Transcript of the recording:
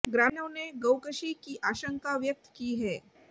ग्रामीणों नें गौकशी की आशंका व्यक्त की है